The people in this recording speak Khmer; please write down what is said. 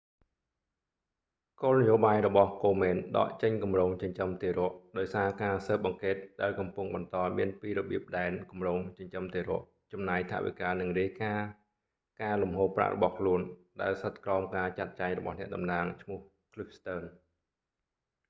គោលនយោបាយរបស់ komen ដកចេញគម្រោងចិញ្ចឹមទារកដោយសារការសើបអង្កេតដែលកំពុងបន្តមានពីរបៀបដែន គម្រោងចិញ្ចឹមទារក ចំណាយថវិការនិងរាយការណ៍ការលំហូរប្រាក់របស់ខ្លួនដែលស្ថិតក្រោមការចាត់ចែងរបស់អ្នកតំណាងឈ្មោះ cliff stearns